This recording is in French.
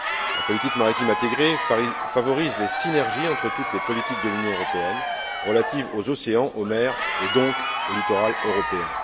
La politique maritime intégrée favorise les synergies entre toutes les politiques de l'Union européenne relatives aux océans, aux mers et donc au littoral européen.